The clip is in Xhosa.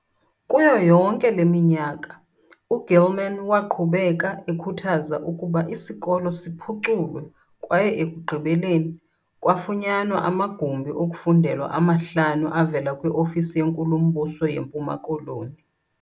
Kuyo yonke le minyaka, u-Gilman waqhubeka ekhuthaza ukuba isikolo siphuculwe kwaye ekugqibeleni, kwafunyanwa amagumbi okufundela amahlanu avela kwi-Ofisi yeNkulumbuso yeMpuma Koloni.